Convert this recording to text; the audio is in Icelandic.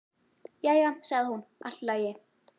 Jæja sagði hún, allt í lagi.